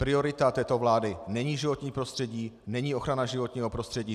Priorita této vlády není životní prostředí, není ochrana životního prostředí.